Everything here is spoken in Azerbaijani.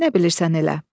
Nə bilirsən elə.